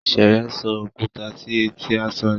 Sheye ń so okuta si eti aṣọ rẹ.